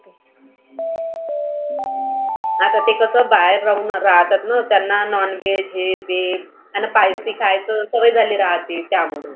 आता ते कसं बाहेर राहून राहतातना त्यांना non veg हे ते त्याना spicy खायच सवय झाली राहते त्यामुळ.